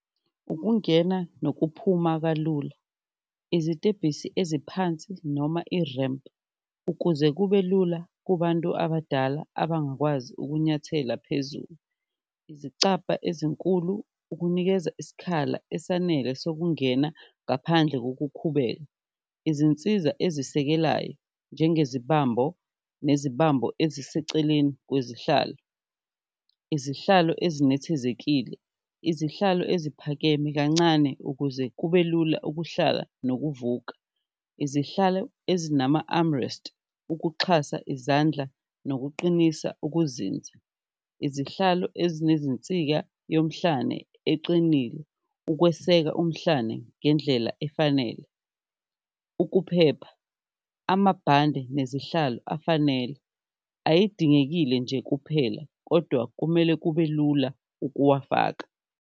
Ukungena nokuphuma kalula, izitebhisi eziphansi noma i-ramp ukuze kube lula kubantu abadala abangakwazi ukunyathela phezulu, izicabha ezinkulu ukunikeza isikhala esanele sokungena ngaphandle kokukhubeka, izinsiza ezisekelayo njengezibambo nezibambo eziseceleni kwezinhlalo. Izihlalo ezinethezekile, izihlalo eziphakeme kancane ukuze kube lula ukuhlala nokuvuka, izihlalo ezinama-armrest ukuxhasa izandla nokuqinisa ukuzinza, izihlalo ezinezinsika emhlane eqinile ukweseka umhlane ngendlela efanele. Ukuphepha, amabhande nezihlalo afanele ayidingekile nje kuphela kodwa kumele kube lula ukuwafaka.